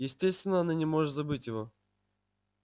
естественно она не может забыть его